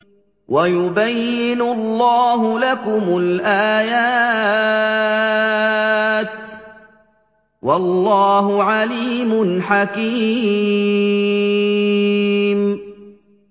وَيُبَيِّنُ اللَّهُ لَكُمُ الْآيَاتِ ۚ وَاللَّهُ عَلِيمٌ حَكِيمٌ